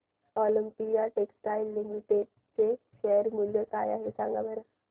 Olympia textiles limited चे share मूल्य काय आहे सांगा बरं